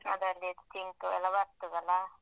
ಅದ್ರಲ್ಲಿ ಇದು ಚಿಂಟುಯೆಲ್ಲ ಬರ್ತದಲ್ಲಾ.